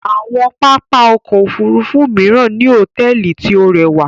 Awọn pápá ọkọ̀ òfurufú miran ni hotẹẹli ti o rẹwa